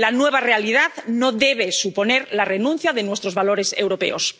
La nueva realidad no debe suponer la renuncia de nuestros valores europeos.